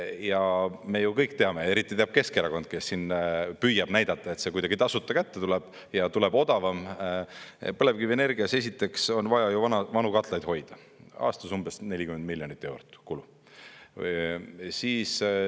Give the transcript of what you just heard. Ja me ju kõik teame, eriti teab Keskerakond, kes siin püüab näidata, et see kuidagi tasuta kätte tuleb ja tuleb odavam, põlevkivienergias esiteks on vaja vanu katlaid hoida, aastas umbes 40 miljonit eurot kulu.